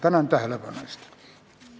Tänan tähelepanu eest!